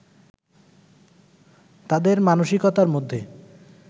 তাঁদের মানসিকতার মধ্যে